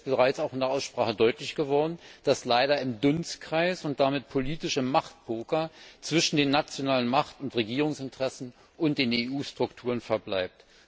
Es ist jetzt bereits auch in der Aussprache deutlich geworden, was alles leider im Dunstkreis und damit im politischen Machtpoker zwischen den nationalen Macht und Regierungsinteressen und den EU Strukturen verbleibt.